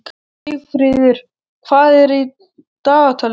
Sigfríður, hvað er í dagatalinu í dag?